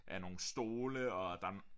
Er nogle stole og der